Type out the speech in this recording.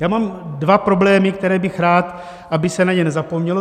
Já mám dva problémy, které bych rád, aby se na ně nezapomnělo.